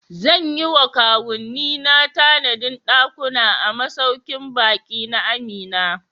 Zan yi wa kawunnina tanadin dakuna a masaukin baki na Amina.